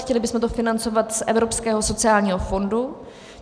Chtěli bychom to financovat z Evropského sociálního fondu.